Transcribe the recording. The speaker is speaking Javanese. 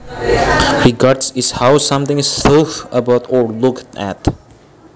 Regard is how something is though about or looked at